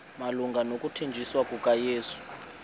malunga nokuthanjiswa kukayesu